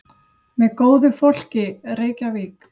Með góðu fólki, Reykjavík.